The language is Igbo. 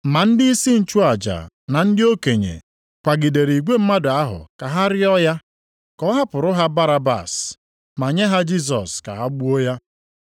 Ma ndịisi nchụaja na ndị okenye kwagidere igwe mmadụ ahụ ka ha rịọ ya, ka ọ hapụrụ ha Barabas, ma nye ha Jisọs ka ha gbuo ya.